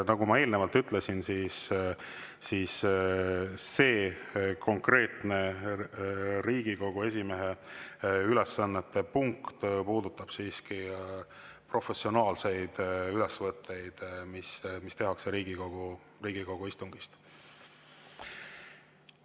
Nagu ma eelnevalt ütlesin, see konkreetne punkt Riigikogu esimehe ülesannete puudutab siiski professionaalseid ülesvõtteid, mis tehakse Riigikogu istungist.